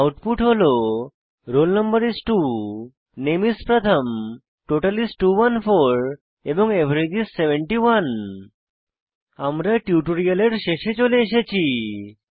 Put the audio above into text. output হল roll no is 2 নামে is প্রথম টোটাল is 214 এবং এভারেজ is 71 আমরা টিউটোরিয়ালের শেষে চলে এসেছি